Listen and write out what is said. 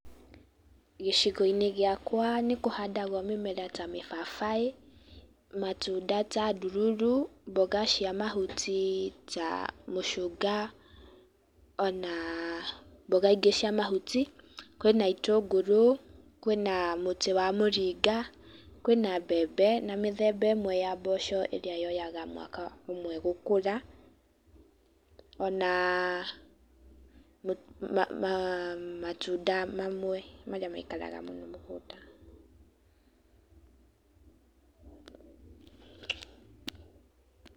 Gĩcigo-inĩ gwakwa nĩ kũhandagwo mĩmera ta mĩbabaĩ, matunda ta ndururu, mboga cia mahuti ta mũcũnga, ona mboga ingĩ cia mahuti, kwĩna itũngũrũ, kwĩna mũtĩ wa mũringa, kwĩna mbembe na mĩthemba ĩmwe ya mboco ĩrĩa yoyaga mwaka ũmwe gũkũra, ona matunda mamwe marĩa maikaraga mũno mũgũnda.